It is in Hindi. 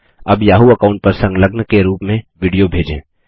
अब याहू अकाऊंट पर संलग्न के रूप में विडियो भेजें